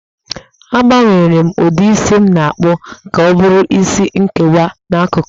Agbanwere m ụdị isi m na-akpụ ka ọ bụrụ isi nkewa n'akụkụ